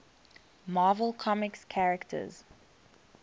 marvel comics characters